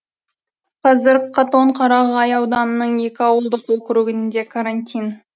қазір қатон қарағай ауданының екі ауылдық округінде карантин